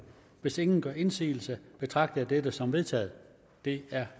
hvis ingen gør indsigelse betragter jeg dette som vedtaget det er